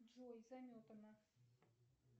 джой заметано